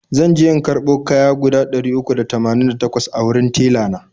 zanje in karbo kaya guda ɗari uku da tamanin da takwas a wurin tella na.